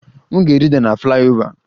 M ga-rida na flyover